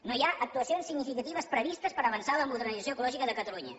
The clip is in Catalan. no hi ha actuacions significatives previstes per avançar en la modernització ecològica de catalunya